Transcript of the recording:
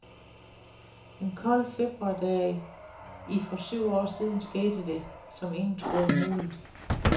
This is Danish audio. En kold februardag i for syv år siden skete det, som ingen troede muligt.